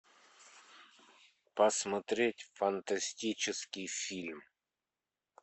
посмотреть фантастический фильм